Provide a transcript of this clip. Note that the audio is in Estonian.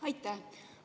Aitäh!